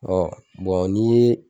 n'i ye